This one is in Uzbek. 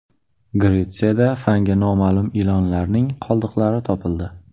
Gretsiyada fanga noma’lum ilonlarning qoldiqlari topildi.